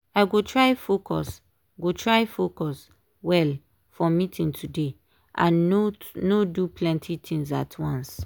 i go try focus go try focus well for meeting today and no do plenty things at once.